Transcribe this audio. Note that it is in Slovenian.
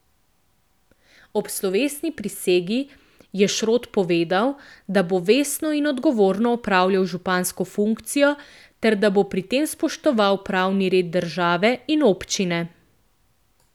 Ob slovesni prisegi je Šrot povedal, da bo vestno in odgovorno opravljal župansko funkcijo ter, da bo pri tem spoštoval pravni red države in občine.